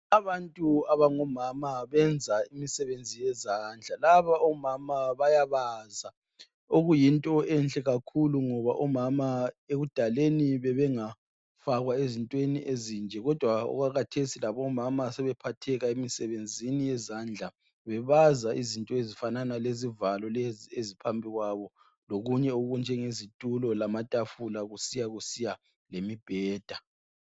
Abantu abangabomama benza imisebenzi yezandla laba omama bayabaza okuyinto enhle kakhulu ngoba omama ekudaleni bebengafakwa ezintweni ezinje kodwa okwakhathesi labomama sebephatheka emsebenzini yezandla bebaza izinto ezinjenge zivalo lezi eziphambi kwabo lokunye okunjengezitulo lamatafula kusiya kusiya lemibheda.